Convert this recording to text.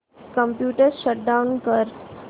computer shut down कर